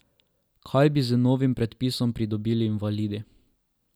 Kaj bi z novim predpisom pridobili invalidi?